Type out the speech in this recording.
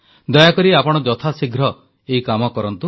ଦୟାକରି ଆପଣ ଯଥାଶୀଘ୍ର ଏହି କାମ କରନ୍ତୁ